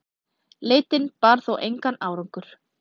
Leitin bar þó engan árangur.